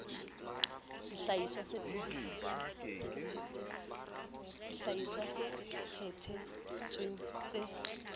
sehlahiswa se phe thetsweng se